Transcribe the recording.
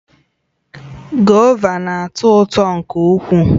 Govà na-atọ ụtọ nke ukwuu